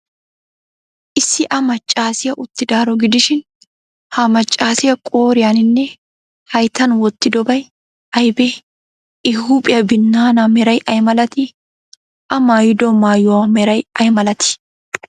Issi a maccaasiyaa uttidaaro gidishin, ha maccaasiyaa qooriyaaninne hayttan wottidobay aybee? I huuphiyaa binnaanaa meray ay malatii? A maayido maayuwa meray ay malatii?